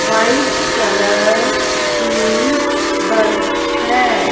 White colour की bus है।